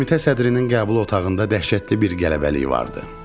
Komitə sədrinin qəbul otağında dəhşətli bir qələbəlik vardı.